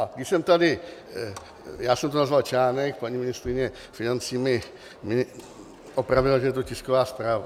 A když jsem tady, já jsem to nazval článek, paní ministryně financí mě opravila, že to je tisková zpráva.